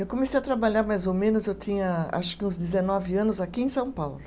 Eu comecei a trabalhar mais ou menos, eu tinha acho que uns dezenove anos aqui em São Paulo.